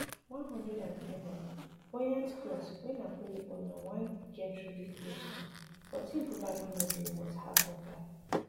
[ one hundred and ten m] buyout clause wey napoli owner want get really close to but im probably no dey worth half of dat